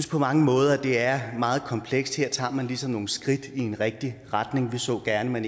på mange måder at det er meget komplekst her tager man ligesom nogle skridt i en rigtig retning vi så gerne